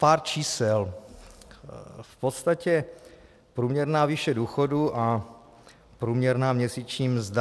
Pár čísel, v podstatě průměrná výše důchodu a průměrná měsíční mzda.